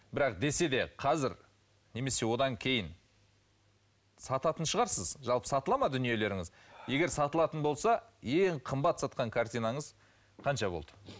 бірақ десе де қазір немесе одан кейін сататын шығарсыз жалпы сатылады ма дүниелеріңіз егер сатылатын болса ең қымбат сатқан картинаңыз қанша болды